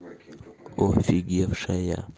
офигевшая